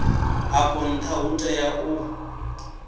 afho ntha u tea u